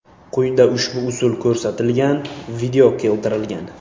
Quyida ushbu usul ko‘rsatilgan video keltirilgan.